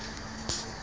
e be re ke ke